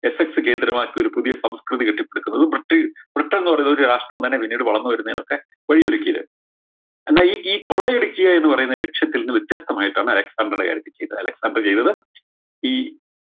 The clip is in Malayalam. FX കേന്ദ്രമാക്കി ഒരു സംസ്‌കൃതി കെട്ടിപ്പടുക്കുന്നത് മറ്റു ബ്രിട്ടൻന്ന് പറയുന്നത് ഒരു രാഷ്ട്രം തന്നെ പിന്നീട് വളർന്നു വരുന്നേയിനൊക്കെ വഴിയൊരുക്കിയത് എന്ന ഈ ഈ കൊള്ളയടിക്കുക എന്ന് പറയുന്ന ലക്ഷ്യത്തിൽന്ന് വ്യത്യസ്തമായിട്ടാണ് അലക്‌സാണ്ടർടെ കാര്യത്തിൽ ചെയ്തത് അലക്‌സാണ്ടർ ചെയ്തത് ഈ